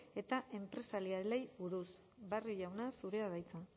edo enpresarialei buruz barrio jauna zurea da hitza